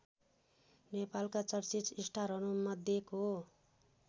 नेपालका चर्चित टारहरूमध्येको